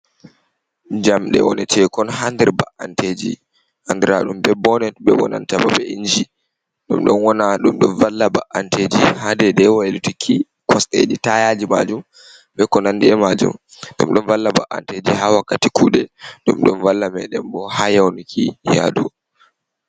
Jamde wone tekon hander ba’anteji. Andiraɗum be bonet be bonantabo be inji. Ɗumm don wana dumdon valla ba’anteji hadede wailuitiki kosdeji tayaji majun, bekonandi majun. Ɗum don valla ba’’anteji ha wakkati kude, dum dun valla meden bo hayauniki yadu.